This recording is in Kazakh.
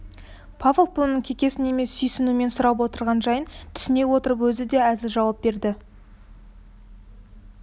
павлов бұның кекесін емес сүйсінумен сұрап отырған жайын түйсіне отырып өзі де әзіл жауап берді